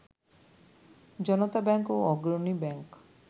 জনতা bank ও Agrani bank